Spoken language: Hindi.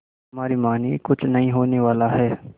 हमारी मानिए कुछ नहीं होने वाला है